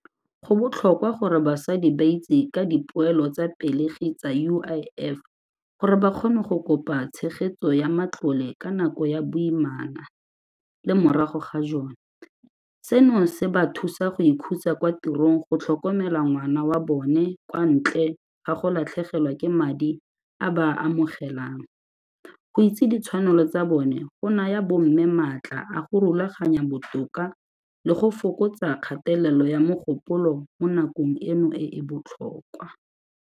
Go botlhokwa gore basadi ba itse ka dipoelo tsa pelegi tsa U_I_F gore ba kgone go kopa tshegetso ya matlole ka nako ya boimana le morago ga jone, seno se ba thusa go ikhutsa kwa tirong go tlhokomela ngwana wa bone kwa ntle ga go latlhegelwa ke madi a ba amogelang. Go itse ditshwanelo tsa bone go naya bo mme maatla a go rulaganya botoka le go fokotsa kgatelelo ya mogopolo mo nakong eno e e botlhokwa.